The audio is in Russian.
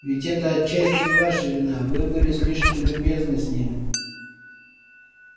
ведь это отчасти и ваша вина вы были слишком любезны с ним